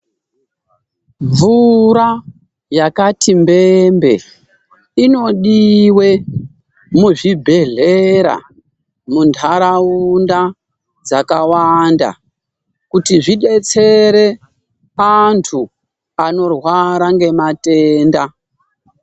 Mvura yakati mbembe inodiwe muzvibhedhlera muntaraunda dzakawanda kuti zvidetsere antu anorwara ngematenda.